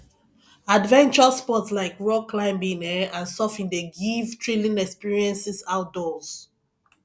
adventure sports like rock climbing um and surfing dey give thrilling experiences outdoors